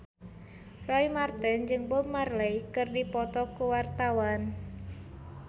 Roy Marten jeung Bob Marley keur dipoto ku wartawan